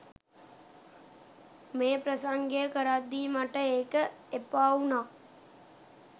මේ ප්‍රසංගය කරද්දී මට ඒක එපාවුනා.